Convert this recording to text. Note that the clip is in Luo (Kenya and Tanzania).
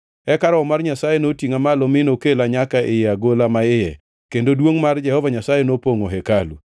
Eka Roho mar Nyasaye notingʼa malo mi nokela nyaka ei agola maiye, kendo duongʼ mar Jehova Nyasaye nopongʼo hekalu.